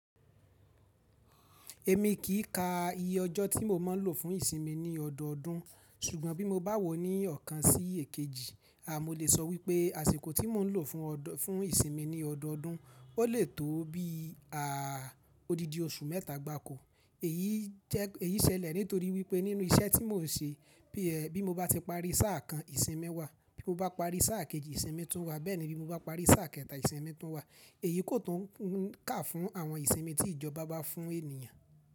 Èmi kì í ka iye ọjọ́ tí mo máa ń lò fún ìsinmi ní ọdọọdún, ṣùgbọ́n bí mo bá wò ó ní ọ̀kan sí èkejì, a mo lè sọ wípé àsìkò tí mò ń lò fún ìsinmi ní ọdọọdún, o lè tó bí i, à, odidi oṣù mẹ́ta gbaako. Èyí ṣẹlẹ̀ nítorí wípé nínú iṣẹ́ tí mò ń ṣe, bí è, bí mo bá ti parí sáà kan, ìsinmi wa. Bí mo bá parí sáà kejì, ìsinmi tún wà. Bẹ́ẹ̀ ni bí mo bá parí sáà kẹta, ìsinmi tún wà. Èyí kò tún kà fún àwọn ìsinmi tí ìjọba bá fún ènìyàn.